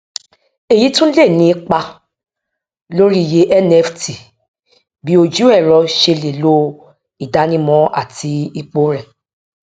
èyí tún lè ní ipa lórí iye nft bí ojú ẹrọ ṣe lè lo ìdánimọ àti ipò rẹ